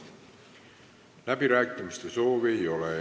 Läbirääkimiste soovi ei ole.